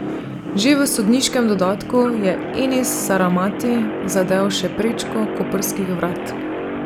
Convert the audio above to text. Že v sodniškem dodatku je Enis Saramati zadel še prečko koprskih vrat.